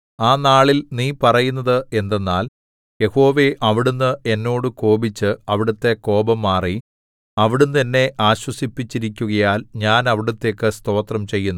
ആ നാളിൽ നീ പറയുന്നത് എന്തെന്നാൽ യഹോവേ അവിടുന്ന് എന്നോട് കോപിച്ചു അവിടുത്തെ കോപം മാറി അവിടുന്ന് എന്നെ ആശ്വസിപ്പിച്ചിരിക്കുകയാൽ ഞാൻ അവിടുത്തേക്കു സ്തോത്രം ചെയ്യുന്നു